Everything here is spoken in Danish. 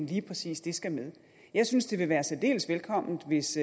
lige præcis det skal med jeg synes det ville være særdeles velkomment hvis